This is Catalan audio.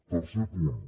tercer punt